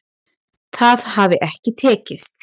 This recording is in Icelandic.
Það hafi ekki tekist